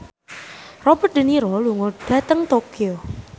Robert de Niro lunga dhateng Tokyo